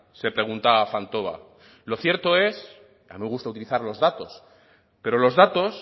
se pregunta fantova lo cierto es y a mí me gusta utilizar los datos pero los datos